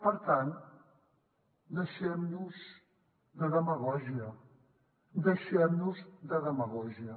per tant deixem nos de demagògia deixem nos de demagògia